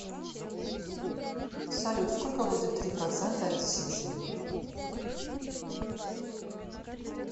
салют сколько будет три процента от десяти